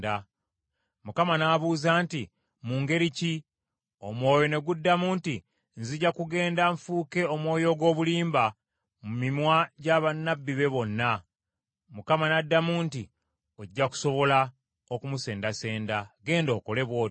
“ Mukama n’abuuza nti, ‘Mu ngeri ki?’ Omwoyo ne guddamu nti, ‘Nzija kugenda nfuuke omwoyo ogw’obulimba mu mimwa gya bannabbi be bonna.’ Mukama n’addamu nti, ‘Ojja kusobola okumusendasenda, genda okole bw’otyo.’